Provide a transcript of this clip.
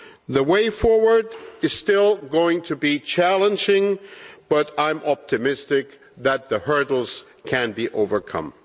The way forward is still going to be challenging but I'm optimistic that the hurdles can be overcome.